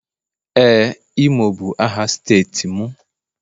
Ee, imo bụ aha steeti m